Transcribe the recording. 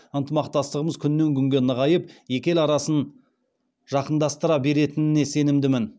ынтымақтастығымыз күннен күнге нығайып екі ел арасын жақындастыра беретініне сенімдімін